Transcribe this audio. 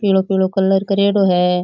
पीलो पीलो कलर करेडो है।